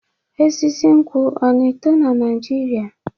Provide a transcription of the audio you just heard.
Osisi nkwu ọ na-eto na Naijiria?